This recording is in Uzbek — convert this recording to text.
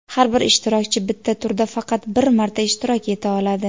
Har bir ishtirokchi bitta turda faqat bir marta ishtirok eta oladi.